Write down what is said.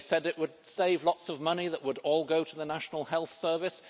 They said it would save lots of money that would all go to the National Health Service